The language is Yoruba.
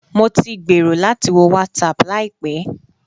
Mo ti gbèrò láti wo WhatsApp láìpẹ́